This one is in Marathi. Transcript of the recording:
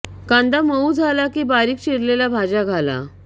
कांदा मऊ झाला की बारीक चिरलेल्या भाज्या घाला